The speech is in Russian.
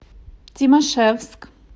тимашевск